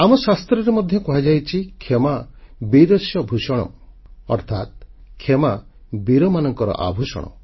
ଆମ ଶାସ୍ତ୍ରରେ ମଧ୍ୟ କୁହାଯାଇଛି କ୍ଷମା ବୀରସ୍ୟ ଭୂଷଣମ୍ ଅର୍ଥାତ୍ କ୍ଷମା ବୀରମାନଙ୍କ ଆଭୂଷଣ